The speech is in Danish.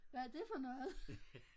Hvad er det for noget?